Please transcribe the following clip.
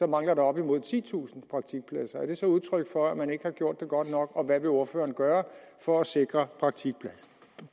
mangler der op mod titusind praktikpladser er det så udtryk for at man ikke har gjort det godt nok og hvad vil ordføreren gøre for at sikre